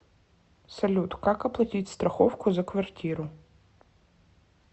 салют как оплатить страховку за квартиру